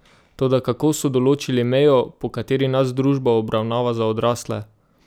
Toda kako so določili mejo, po kateri nas družba obravnava za odrasle?